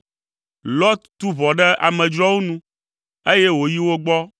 Lot tu ʋɔ ɖe amedzroawo nu, eye wòyi wo gbɔ